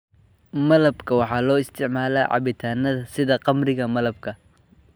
Malabka waxaa loo isticmaalaa cabitaanada sida khamriga malabka.